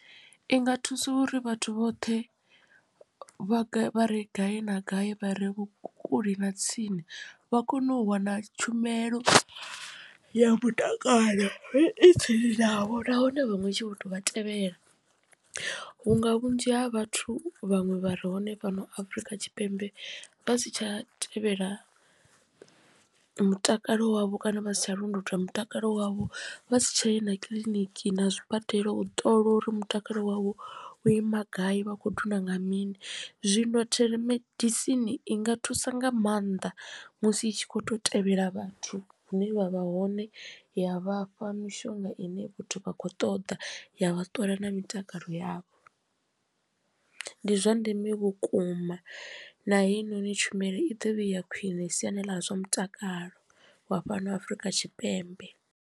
I nga thusa uri vhathu vhoṱhe vha vha re gai na gai vha re kule na tsini vha kone u wana tshumelo ya mutakalo i tsini navho nahone vhaṅwe i tshi vho tou vha tevhela. Vhunga vhunzhi ha vhathu vhaṅwe vha re hone fhano afrika tshipembe vha si tsha tevhela mutakalo wavho kana vha si tsha londotwa mutakalo wavho vha si tshaya na kiḽiniki na zwibadela u ṱola uri mutakalo wavho u ima gai vha kho thuswa nga mini zwino thelemedisini i nga thusa nga maanḓa musi itshi kho to tevhela vhathu hune vha vha hone ya vhafha mishonga ine vhathu vha kho ṱoḓa ya vha ṱola na mitakalo yavho. Ndi zwa ndeme vhukuma na hei noni tshumelo i ḓo vha iya khwine siani ḽa zwa mutakalo wa fhano Afurika Tshipembe.